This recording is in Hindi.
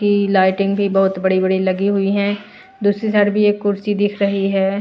की लाइटिंग भी बहुत बड़ी-बड़ी लगी हुई है दूसरी साइड भी एक कुर्सी दिख रही है।